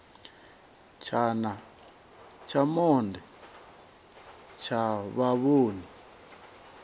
tshana tsha monde tsha vhavhoni